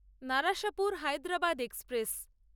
Narasapur Hyderabad express